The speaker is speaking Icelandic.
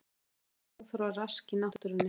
Ekkert óþarfa rask í náttúrunni